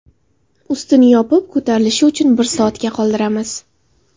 Ustini yopib, ko‘tarilishi uchun bir soatga qoldiramiz.